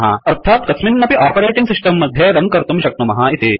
अर्थात् कस्मिन्नपि operating system मध्ये रन कर्तुं शक्नुमः इति